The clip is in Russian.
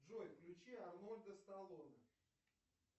джой включи арнольда сталоне